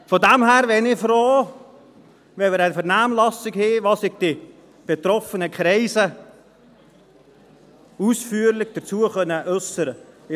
Von daher wäre ich froh, wenn wir eine Vernehmlassung hätten, in der sich die betroffenen Kreise ausführlich dazu äussern können.